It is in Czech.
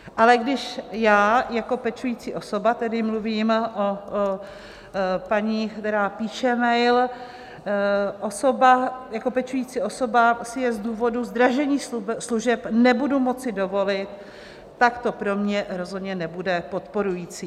Ale když já jako pečující osoba" - tedy mluvím o paní, která píše mail - "jako pečující osoba si je z důvodu zdražení služeb nebudu moci dovolit, tak to pro mě rozhodně nebude podporující."